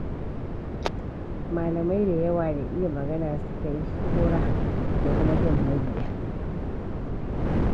Malamai da yawa, da iya magana suka yi shuhura da kuma jan mabiya.